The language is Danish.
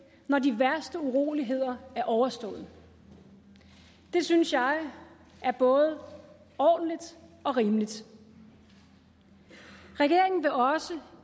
når de værste uroligheder er overstået det synes jeg er både ordentligt og rimeligt regeringen vil også